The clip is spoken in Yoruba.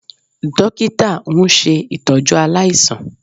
Dókítà ń ṣe ìtọ́jú aláìsàn